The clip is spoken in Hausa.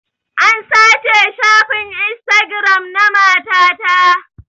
An sace shafin instagiram na mata ta